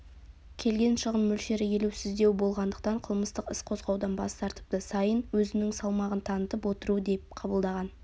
келген шығын мөлшері елеусіздеу болғандықтан қылмыстық іс қозғаудан бас тартыпты сайын өзінің салмағын танытып отыру деп қабылдаған